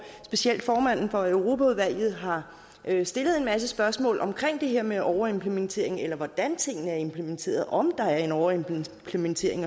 specielt formanden for europaudvalget har stillet en masse spørgsmål om det her med overimplementering hvordan tingene er implementeret om der er en overimplementering